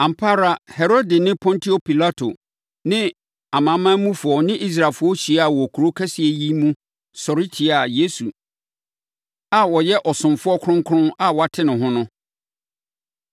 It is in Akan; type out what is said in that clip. Ampa ara Herode ne Pontio Pilato ne amanamanmufoɔ ne Israelfoɔ hyiaa wɔ kuro kɛseɛ yi mu sɔre tiaa Yesu a ɔyɛ Ɔsomfoɔ Kronkron a woate ne ho no.